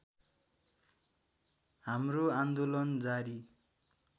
हाम्रो आन्दोलन जारी